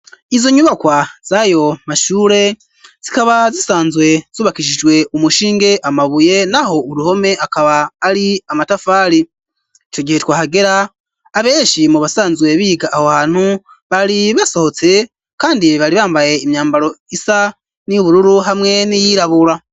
Izo nyubakwa zayo mashure zikaba zisanzwe zubakishijwe umushinge amabuye naho uruhome akaba ari amatafari iyo gihe twahagera abeshi mu basanzwe biga aho hantu bari basohotse kandi bari bambaye imyambaro isa niyu bururu hamwe n'iyirabura.